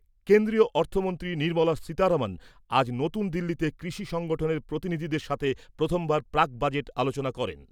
কেন্দ্রীয় অর্থমন্ত্রী নির্মলা সীতারমন আজ নতুন দিল্লিতে কৃষি সংগঠনের প্রতিনিধিদের সাথে প্রথমবার প্রাক বাজেট আলোচনা করেন